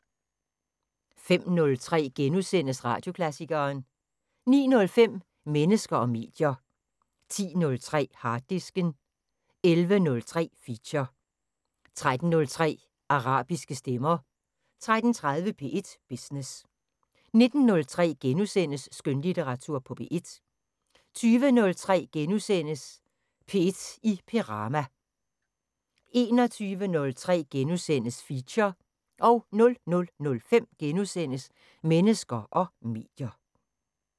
05:03: Radioklassikeren * 09:05: Mennesker og medier 10:03: Harddisken 11:03: Feature 13:03: Arabiske stemmer 13:30: P1 Business 19:03: Skønlitteratur på P1 * 20:03: P1 i Perama * 21:03: Feature * 00:05: Mennesker og medier *